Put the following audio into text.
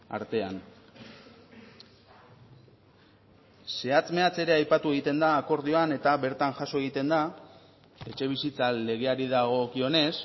artean zehatz mehatz ere aipatu egiten da akordioan eta bertan jaso egiten da etxebizitza legeari dagokionez